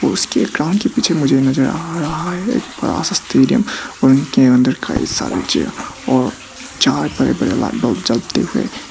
उसके ग्राउंड के पीछे मुझे नजर आ रहा है एक बड़ा सा स्टेडियम और उनके अंदर कई सारे चेयर चार बड़े बड़े लाइट बल्ब जलते हुए।